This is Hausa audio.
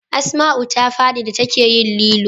Asmau ta fadi da ta ke yin lilo